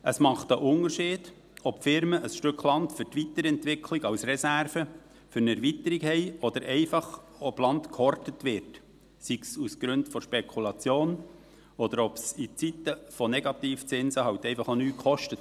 Es macht einen Unterschied, ob Firmen ein Stück Land für die Weiterentwicklung als Reserve für eine Erweiterung haben oder ob Land einfach gehortet wird, sei es aus Gründen der Spekulation oder weil es in Zeiten von Negativzinsen halt auch einfach nichts kostet.